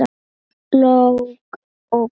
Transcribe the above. Lóa og Gunnar.